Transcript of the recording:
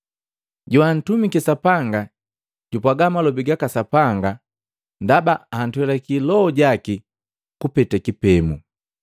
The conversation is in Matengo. Joantumiki Sapanga jupwaga malobi gaka Sapanga ndaba antwelake Loho jaki kupeta kipemo.